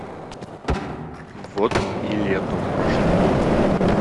вот и лето прошло